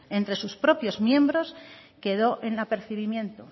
entre sus propios miembros quedó en apercibimiento